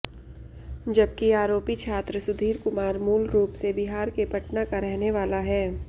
जबकि आरोपी छात्र सुधीर कुमार मूलरूप से बिहार के पटना का रहने वाला है